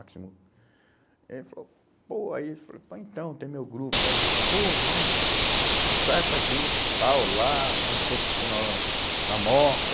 Aí ele falou, pô, aí ele falou, pô, então tem meu grupo, aí ele falou, pô, vamos, ensaia com a gente, tal, lá, a gente tem oficina lá na na Moca.